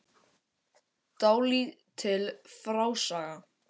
Dálítil frásaga.